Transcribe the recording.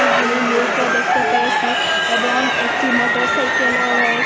গুলি লোকও দেখতে পেয়েসি এবং একটি মোটর সাইকেলও রয়েস--